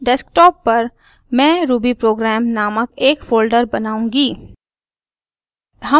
desktop पर मैं rubyprogram नामक एक फोल्डर बनाऊँगी